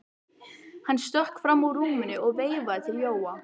Hann stökk fram úr rúminu og veifaði til Jóa.